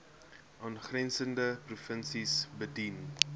aangrensende provinsies bedien